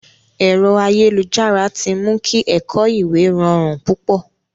Ẹ̀rọ ayélujára ti mu kí ẹ̀kọ̀ ìwé rọrùn púpọ̀.